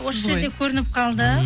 осы жерде көрініп қалды